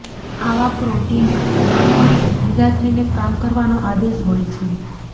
આવા પ્રોટીનમાં તમામ કણને ભેગા થઇને કામ કરવાનો આદેશ હોય છે